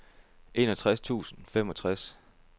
enogtres tusind og femogtres